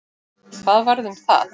Hvað varð um það?